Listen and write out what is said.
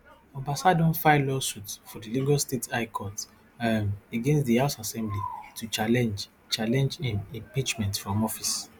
obasa don file lawsuit for di lagos state high court um against di house assembly to challenge challenge im impeachment from office